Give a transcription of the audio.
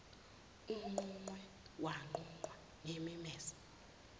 umnquqe wanqunqwa ngemimese